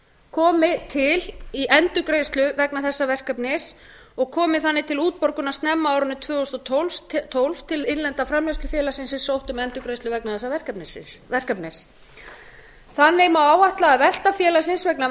komi til í endurgreiðslu vegna þessa verkefnis og komi þannig til útborgunar snemma á árinu tvö þúsund og tólf til innlenda framleiðslufélagsins sem sótti um endurgreiðslu vegna þessa verkefnis þannig má áætla að velta félagsins vegna